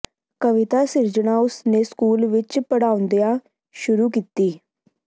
ਕਵਿਤਾ ਸਿਰਜਣਾ ਉਸ ਨੇ ਸਕੂਲ ਵਿੱਚ ਪੜ੍ਹਾਉਂਦਿਆ ਸ਼ੁਰੂ ਕੀਤੀ